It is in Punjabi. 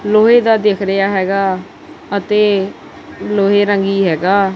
ਲੋਹੇ ਦਾ ਦਿਖ ਰਿਹਾ ਹੈਗਾ ਅਤੇ ਲੋਹੇ ਰੰਗੀ ਹੈਗਾ।